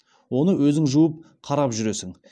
оны өзің жуып қарап жүресің